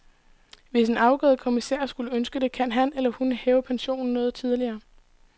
Hvis en afgået kommissær skulle ønske det, kan han eller hun hæve pensionen noget tidligere.